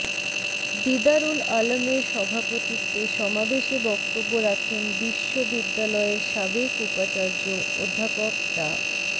দিদারুল আলমের সভাপতিত্বে সমাবেশে বক্তব্য রাখেন বিশ্বববিদ্যালয়ের সাবেক উপাচার্য অধ্যাপক ডা